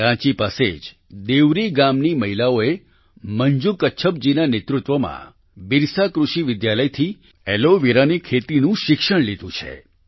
રાંચી પાસે જ દેવરી ગામની મહિલાઓએ મંજૂ કચ્છપ જી ના નેતૃત્વમાં બિરસા કૃષિ વિદ્યાલયથી એલોવેરાની ખેતીનું શિક્ષણ લીધું હતું